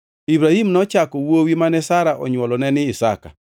Ibrahim nochako wuowi mane Sara onywolone ni Isaka.